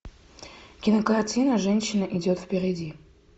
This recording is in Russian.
кинокартина женщина идет впереди